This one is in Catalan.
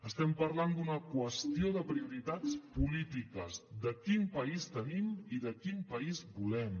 estem parlant d’una qüestió de prioritats polítiques de quin país tenim i de quin país volem